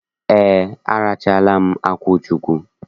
Ee, arachaala m akwuchụkwu.